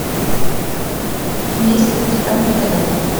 есть ли у тебя мотылек